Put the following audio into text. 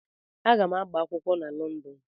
Aga m agba akwụkwọ na Lọndọn.